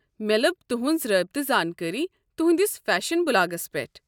مےٚ لٔب تُہٕنٛز رٲبطہٕ زانكٲری تُہندِس فیشن بلاگس پٮ۪ٹھ۔